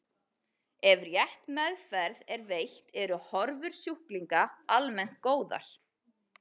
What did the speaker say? Ef rétt meðferð er veitt eru horfur sjúklinga almennt góðar.